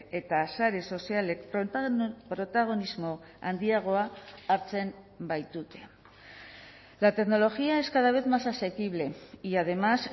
eta sare sozialek protagonismo handiagoa hartzen baitute la tecnología es cada vez más asequible y además